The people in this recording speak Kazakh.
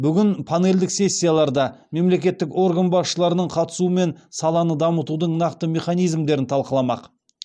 бүгін панельдік сессияларда мемлекеттік орган басшыларының қатысуымен саланы дамытудың нақты механизмдерін талқыламақ